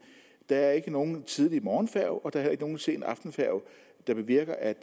der er ikke nogen tidlig morgenfærge og der er heller ikke nogen sen aftenfærge det bevirker at